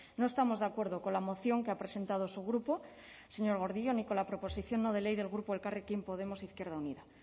no estamos de acuerdo con la moción que ha presentado su grupo señor gordillo ni con la proposición no de ley del grupo elkarrekin podemos izquierda unida